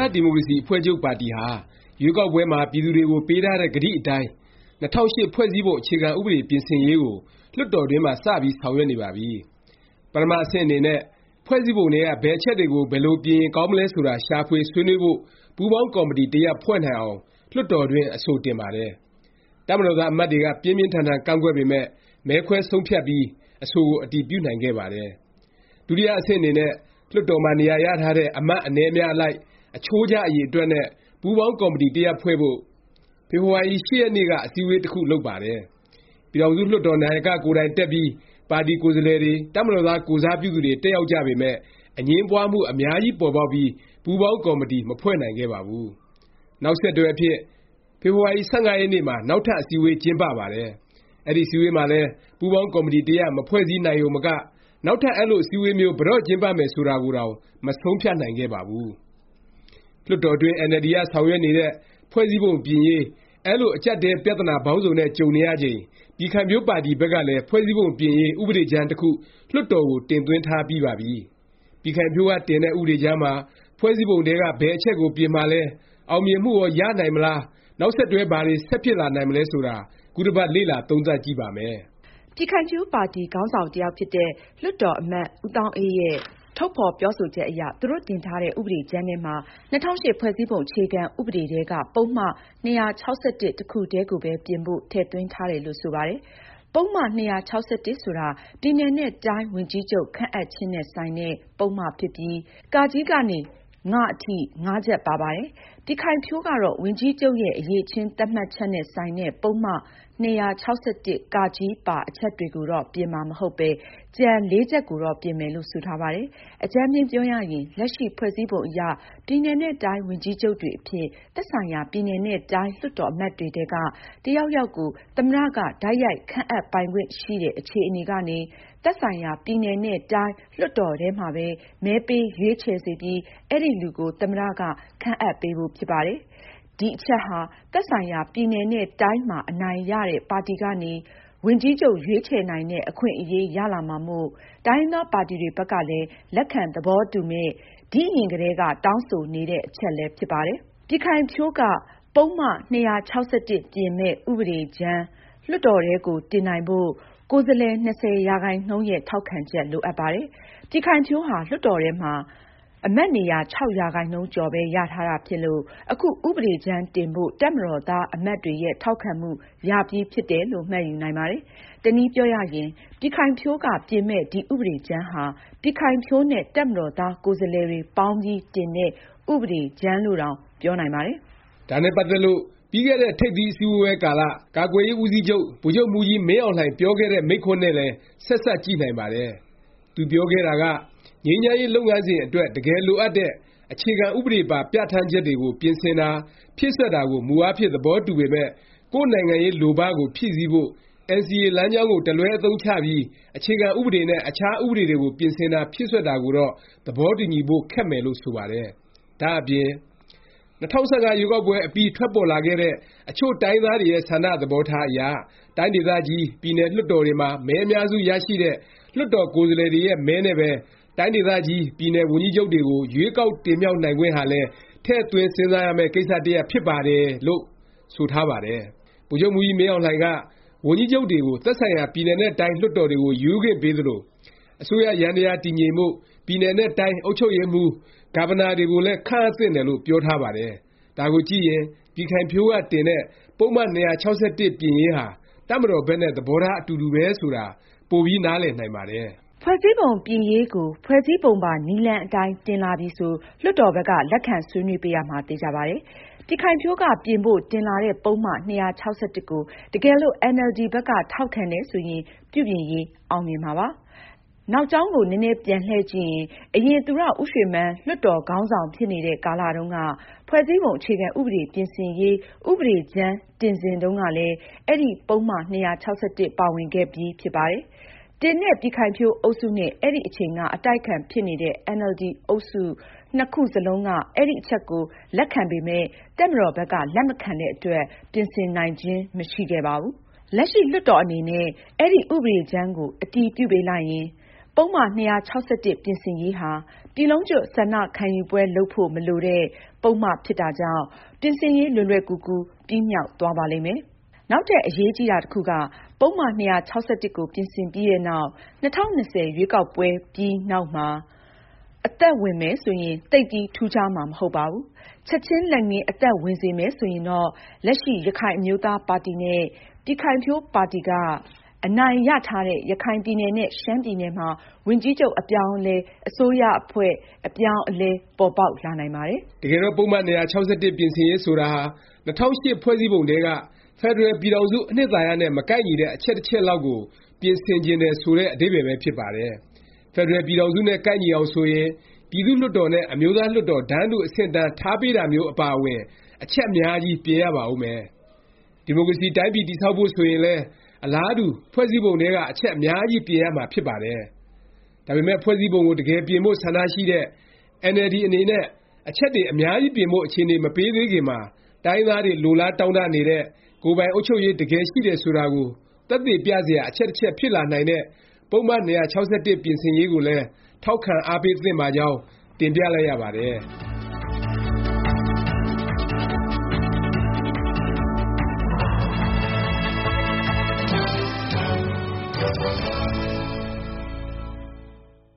ားဒီမိုကရေစီ အဖွဲ့ချုပ် ပါတီဟာ ရွေးကောက်ပွဲမှာ ပြည်သူတွေကို ပေးထားတဲ့ ကတိအတိုင်း ၂၀၀၈ ဖွဲ့စည်းပုံ အခြေခံဥပဒေ ပြင်ဆင်ရေးကို လွှတ်တော်တွင်းမှာ စပြီး ဆောင်ရွက်နေပါပြီ။ ပထမ အဆင့်အနေနဲ့ ဖွဲ့စည်းပုံထဲက ဘယ်အချက်တွေကို ဘယ်လို ပြင်ရင် ကောင်းမလဲ ဆိုတာ ရှာဖွေ ဆွေးနွေးဖို့ ပူးပေါင်း ကော်မတီ တစ်ရပ် ဖွဲ့နိုင်အောင် လွှတ်တော်တွင်း အဆိုတင်ပါတယ်။ တပ်မတော်သား အမတ်တွေက ပြင်းပြင်းထန်ထန် ကန့်ကွက်ပေမယ့် မဲခွဲဆုံးဖြတ်ပြီး အဆိုကို အတည်ပြုနိုင်ခဲ့ပါတယ်။ ဒုတိယ အဆင့် အနေနဲ့ လွှတ်တော်မှာ နေရာရထားတဲ့ အမတ်အနည်း အများအလိုက် အချိုးကျ အရေအတွက်နဲ့ ပူးပေါင်းကော်မတီ တစ်ရပ်ဖွဲ့ဖို့ ဖေဖေါ်ဝါရီ ၈ ရက်နေ့က အစည်းဝေး တစ်ခုလုပ်ပါတယ်။ ပြည်ထောင်စု လွှတ်တော် နာယက ကိုယ်တိုင်တက်ပြီး ပါတီကိုယ်စားလှယ်တွေ၊ တပ်မတော်သား ကိုယ်စားပြုသူတွေ တက်ရောက်ကြပေမယ့် အငြင်းပွားမှု အများကြီးပေါ်ပေါက်ပြီး ပူးပေါင်းကော်မတီ မဖွဲ့နိုင်ခဲ့ပါဘူး။ နောက်ဆက်တွဲအဖြစ် ဖေဖေါ်ဝါရီ ၁၅ ရက်နေ့မှာ နောက်ထပ် အစည်းအဝေး ကျင်းပပါတယ်။ အဲဒီ အစည်းအဝေးမှာလည်း ပူးပေါင်းကော်မတီ တစ်ရပ် မဖွဲ့စည်းနိုင်ရုံမက နောက်ထပ် အဲလို အစည်းအဝေးမျိုး ဘယ်တော့ ကျင်းပမယ် ဆိုတာကိုတောင် မဆုံးဖြတ်နိုင်ခဲ့ပါဘူး။ လွှတ်တော်တွင်း အင်န်အယ်လ်ဒီက ဆောင်ရွက်နေတဲ့ ဖွဲ့စည်းပုံပြင်ရေး အဲလို အကြပ်အတည်း ပြသနာ ပေါင်းစုံနဲ့ ကြုံနေရချိန် ပြည်ခိုင်ဖြိုးပါတီဘက်ကလည်း ဖွဲ့စည်းပုံပြင်ရေး ဥပဒေကြမ်းတစ်ခု လွှတ်တော်ကို တင်သွင်းထားပြီးပါပြီ။ ပြည်ခိုင်ဖြိုးက တင်တဲ့ ဥပဒေကြမ်းမှာ ဖွဲ့စည်းပုံထဲက ဘယ်အချက်ကို ပြင်မှာလဲ၊ အောင်မြင်မှုရော ရနိုင်မလား၊ နောက်ဆက်တွဲ ဘာတွေ ဆက်ဖြစ်လာနိုင်မလဲ ဆိုတာ ခုတစ်ပတ် လေ့လာသုံးသပ်ကြည့်ပါမယ်။ ပြည်ခိုင်ဖြိုးပါတီ ခေါင်းဆောင်တစ်ယောက်ဖြစ်တဲ့ လွှတ်တော်အမတ် ဦးသောင်းအေးရဲ့ ထုတ်ဖော်ပြောဆိုချက်အရ သူတို့တင်ထားတဲ့ ဥပဒေကြမ်းထဲမှာ ၂၀၀၈ ဖွဲ့စည်းပုံ အခြေခံ ဥပဒေထဲက ပုဒ်မ ၂၆၁ တစ်ခုထဲကိုပဲ ပြင်ဖို့ ထည့်သွင်းထားတယ်လို့ ဆိုပါတယ်။ ပုဒ်မ ၂၆၁ ဆိုတာ ပြည်နယ်နဲ့ တိုင်း ဝန်ကြီးချုပ် ခန့်အပ်ခြင်းနဲ့ ဆိုင်တဲ့ ပုဒ်မ ဖြစ်ပြီး ကနေ အထိ ချက် ပါပါတယ်။ ပြည်ခိုင်ဖြိုးကတော့ ဝန်ကြီးချုပ်ရဲ့ အရည်အချင်း သတ်မှတ်ချက်နဲ့ ဆိုင်တဲ့ ပုဒ်မ၂၆၁ ပါ အချက်တွေကိုတော့ ပြင်မှာ မဟုတ်ပဲ ကျန် ချက်ကိုတော့ ပြင်မယ်လို့ ဆိုထားပါတယ်။ အကြမ်းဖျဉ်းပြောရရင် လက်ရှိ ဖွဲ့စည်းပုံအရ ပြည်နယ်နဲ့ တိုင်း ဝန်ကြီးချုပ်တွေအဖြစ် သက်ဆိုင်ရာ ပြည်နယ်နဲ့ တိုင်း လွှတ်တော် အမတ်တွေထဲက တစ်ယောက်ယောက်ကို သမ္မတ က တိုက်ရိုက် ခန့်အပ်ပိုင်ခွင့် ရှိတဲ့ အခြေအနေကနေ သက်ဆိုင်ရာ ပြည်နယ်နဲ့ တိုင်း လွှတ်တော်ထဲမှာပဲ မဲပေး ရွေးချယ်စေပြီး အဲဒီလူကို သမ္မတ က ခန့်အပ်ပေးဖို့ ဖြစ်ပါတယ်။ ဒီအချက်ဟာ သက်ဆိုင်ရာ ပြည်နယ်နဲ့ တိုင်း မှာ အနိုင်ရတဲ့ ပါတီကနေ ဝန်ကြီးချုပ် ရွေးချယ်နိုင်တဲ့ အခွင့်အရေးရလာမှာမို့ တိုင်းရင်းသားပါတီတွေဘက်ကလည်း လက်ခံ သဘောတူမယ့်၊ ဒီ့အရင်ကတည်းက တောင်းဆိုနေတဲ့ အချက်လည်း ဖြစ်ပါတယ်။ ပြည်ခိုင်ဖြိုးက ပုဒ်မ ၂၆၁ ပြင်မယ့် ဥပဒေကြမ်း လွှတ်တော်ထဲကို တင်နိုင်ဖို့ ကိုယ်စားလှယ် ၂၀ ရာခိုင်နှုန်းရဲ့ ထောက်ခံချက် လိုအပ်ပါတယ်။ ပြည်ခိုင်ဖြိုးဟာ လွှတ်တော်ထဲမှာ အမတ်နေရာ ၆ ရာခိုင်နှုန်း ကျော်ပဲ ရထားတာဖြစ်လို့ အခု ဥပဒေကြမ်းတင်ဖို့ တပ်မတော်သား အမတ်တွေရဲ့ ထောက်ခံမှု ရပြီးဖြစ်တယ်လို့ မှတ်ယူနိုင်ပါတယ်။ တနည်းပြောရရင် ပြည်ခိုင်ဖြိုးက ပြင်မယ့် ဒီ ဥပဒေကြမ်းဟာ ပြည်ခိုင်ဖြိုးနဲ့ တပ်မတော်သား ကိုယ်စားလှယ်တွေ ပေါင်းပြီး တင်တဲ့ ဥပဒေကြမ်းလို့တောင် ပြောနိုင်ပါတယ်။ ဒါနဲ့ ပတ်သက်လို့ ပြီးခဲ့တဲ့ ထိပ်သီးအစည်းဝေးပွဲကာလ ကာကွယ်ရေး ဦးစီးချုပ် ဗိုလ်ချုပ်မှူးကြီး မင်းအောင်လှိုင် ပြောခဲ့တဲ့ မိန့်ခွန်းနဲ့လည်း ဆက်စပ်ကြည့်နိုင်ပါတယ်။ သူပြောခဲ့တာက ငြိမ်းချမ်းရေး လုပ်ငန်းစဉ်အတွက် တကယ်လိုအပ်တဲ့ အခြေခံ ဥပဒေပါ ပြဌာန်းချက်တွေကို ပြင်ဆင်တာ၊ ဖြည့်စွက်တာကို မူအားဖြင့် သဘောတူပေမယ့် ကိုယ့်နိုင်ငံရေး လိုဘ ကို ဖြည့်ဆည်းဖို့ NCA လမ်းကြောင်းကို တလွဲ အသုံးချပြီး အခြေခံ ဥပဒေနဲ့ အခြား ဥပဒေတွေကို ပြင်ဆင်တာ ဖြည့်စွက်တာကိုတော့ သဘောတူညီဖို့ ခက်မယ်လို့ ဆိုပါတယ်။ ဒါ့အပြင် “ ၂၀၁၅ ရွေးကောက်ပွဲအပြီး ထွက်ပေါ်လာခဲ့တဲ့ အချို့တိုင်းရင်းသားတွေရဲ့ ဆန္ဒ သဘောထားအရ တိုင်းဒေသကြီး၊ ပြည်နယ် လွှတ်တော်တွေမှာ မဲအများစုရရှိတဲ့ လွှတ်တော်ကိုယ်စားလှယ်တွေရဲ့ မဲနဲ့ပဲ တိုင်းဒေသကြီး ပြည်နယ် ဝန်ကြီးချုပ်တွေကို ရွေးကောက် တင်မြှောက်နိုင်ခွင့်ဟာလည်း ထည့်သွင်း စဉ်းစားရမယ့် ကိစ္စ တစ်ရပ် ဖြစ်ပါတယ်” လို့ ဆိုထားပါတယ်။ ဗိုလ်ချုပ်မှူးကြီးမင်းအောင်လှိုင်က ဝန်ကြီးချုပ်တွေကို သက်ဆိုင်ရာ ပြည်နယ်နဲ့ တိုင်း လွှတ်တော်တွေကို ရွေးခွင့်ပေးသလို၊ အစိုးရယန္တယား တည်ငြိမ်ဖို့ ပြည်နယ်နဲ့ တိုင်း အုပ်ချုပ်ရေးမှူး Governor တွေကိုလည်း ခန့်အပ်သင့်တယ်လို့ ပြောထားပါတယ်။ ဒါကို ကြည့်ရင် ပြည်ခိုင်ဖြိုးက တင်တဲ့ ပုဒ်မ ၂၆၁ ပြင်ရေးဟာ တပ်မတော်ဘက်နဲ့ သဘောထား အတူတူပဲ ဆိုတာ ပိုပြီး နားလည်နိုင်ပါတယ်။ ဖွဲ့စည်းပုံ ပြင်ရေးကို ဖွဲ့စည်းပုံပါ နည်းလမ်းအတိုင်း တင်လာပြီဆို လွှတ်တော်ဘက်က လက်ခံ ဆွေးနွေးပေးရမှာ သေခြာပါတယ်။ ပြည်ခိုင်ဖြိုးက ပြင်ဖို့ တင်လာတဲ့ ပုဒ်မ ၂၆၁ ကို တကယ်လို့ အင်န်အယ်လ်ဒီ ဘက်က ထောက်ခံတယ် ဆိုရင် ပြုပြင်ရေး အောင်မြင်မှာပါ။ နောက်ကြောင်းကို နည်းနည်း ပြန်လှည့်ကြည့်ရင် အရင် သူရဦးရွှေမန်း လွှတ်တော် ခေါင်းဆောင် ဖြစ်နေတဲ့ ကာလ တုန်းက ဖွဲ့စည်းပုံ အခြေခံ ဥပဒေ ပြင်ဆင်ရေး ဥပဒေကြမ်း တင်စဉ်တုန်းကလည်း အဲဒီ ပုဒ်မ ၂၆၁ ပါဝင်ခဲ့ပြီး ဖြစ်ပါတယ်။ တင်တဲ့ ပြည်ခိုင်ဖြိုးအုပ်စုနဲ့ အဲဒီအချိန်က အတိုက်အခံ ဖြစ်နေတဲ့ အင်န်အယ်လ်ဒီ အုပ်စု ၂ခု စလုံးက အဲဒီအချက် လက်ခံပေမယ့် တပ်မတော်ဘက်က လက်မခံတဲ့အတွက် ပြင်ဆင်နိုင်ခြင်း မရှိခဲ့ပါဘူး။ လက်ရှိလွှတ်တော်အနေနဲ့ အဲဒီ ဥပဒေကြမ်းကို အတည်ပြုပေးလိုက်ရင် ပုဒ်မ ၂၆၁ ပြင်ဆင်ရေးဟာ ပြည်လုံးကျွတ် ဆန္ဒခံယူပွဲ လုပ်ဖို့ မလိုတဲ့ ပုဒ်မ ဖြစ်တာကြောင့် ပြင်ဆင်ရေး လွယ်လွယ်ကူကူ ပြီးမြောက်သွားပါလိမ့်မယ်။ နောက်ထပ် အရေးကြီးတာ တစ်ခုက ပုဒ်မ ၂၆၁ ကို ပြင်ဆင်ပြီးနောက် ၂၀၂၀ ရွေးကောက်ပွဲပြီးနောက်မှ အသက်ဝင်မယ် ဆိုရင် သိပ်ပြီး ထူးခြားမှာ မဟုတ်ပါဘူး။ ချက်ခြင်း လက်ငင်း အသက်ဝင်စေမယ် ဆိုရင်တော့ လက်ရှိ ရခိုင်အမျိုးသားပါတီနဲ့ ပြည်ခိုင်ဖြိုးပါတီက အနိုင်ရထားတဲ့ ရခိုင်ပြည်နယ်နဲ့ ရှမ်းပြည်နယ်မှာ ဝန်ကြီးချုပ် အပြောင်းအလဲ အစိုးရအဖွဲ့ အပြောင်းအလဲ ပေါ်ပေါက်လာနိုင်ပါသေးတယ်။ တကယ်တော့ ပုဒ်မ ၂၆၁ ပြင်ဆင်ရေး ဆိုတာဟာ ၂၀၀၈ ဖွဲ့စည်းပုံထဲက ဖက်ဒရယ် ပြည်ထောင်စု အနှစ်သာရနဲ့ မကိုက်ညီတဲ့ အချက်တစ်ချက်လောက်ကို ပြင်ဆင်တယ် ဆိုတဲ့ အဓိပ္ပါယ် ပဲ ဖြစ်ပါတယ်။ ဖက်ဒရယ် ပြည်ထောင်စု နဲ့ ကိုက်ညီအောင် ဆိုရင် ပြည်သူ့လွှတ်တော်နဲ့ အမျိုးသား လွှတ်တော် တန်းတူ အဆင့်အတန်း ထားပေးတာမျိုး အပါအဝင် အချက်အများကြီး ပြင်ရပါဦးမယ်။ ဒီမိုကရေစီ တိုင်းပြည် တည်ဆောက်ဖို့ ဆိုရင်လည်း အလားတူ ဖွဲ့စည်းပုံထဲက အချက်အများကြီး ပြင်ရမှာဖြစ်ပါတယ်။ ဒါပေမယ့် ဖွဲ့စည်းပုံကို တကယ်ပြင်ဖို့ ဆန္ဒရှိတဲ့ အင်န်အယ်လ်ဒီ အနေနဲ့ အချက်တွေ အများကြီးပြင်ဖို့ အခြေအနေ မပေးသေးခင်မှာ တိုင်းရင်းသားတွေ လိုလားတောင့်တနေတဲ့ ကိုယ်ပိုင် အုပ်ချုပ်ရေး တကယ် ရှိတယ်ဆိုတာကို သက်သေပြစရာ အချက်တစ်ချက် ဖြစ်လာနိုင်တဲ့ ပုဒ်မ ၂၆၁ ပြင်ဆင်ရေးကိုလည်း ထောက်ခံ အားပေးသင့်ပါကြောင်း တင်ပြလိုက်ရပါတယ်။